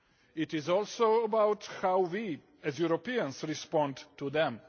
It is also about how we, as Europeans, respond to them.